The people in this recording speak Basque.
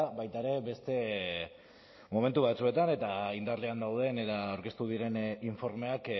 baita ere beste momentu batzuetan eta indarrean dauden eta aurkeztu diren informeak